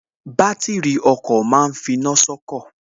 Bátìrì ọkọ̀ ma ń finá sọ́kọ̀